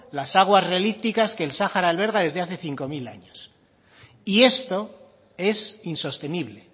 las aguas relipticas que el sahara alberga desde hace cinco mil años y esto es insostenible